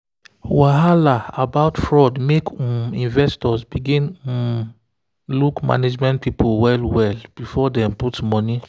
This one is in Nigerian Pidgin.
wahala about fraud make um investors begin look um management people well well before dem put money.